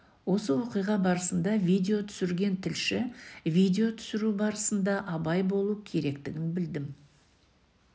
осы оқиға барысында видео түсірген тілші видео түсіру барысында абай болу керектігін білдім